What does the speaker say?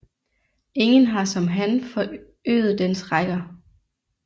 Ingen har som han forøget dens rækker